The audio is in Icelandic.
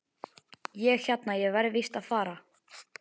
Ég hérna. ég verð víst að fara!